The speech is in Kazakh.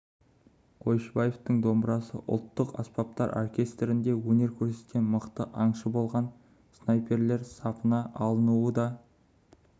қойшыбаевтың домбырасы ол ұлттық аспаптар оркестрінде өнер көрсеткен мықты аңшы болған снайперлер сапына алынуы да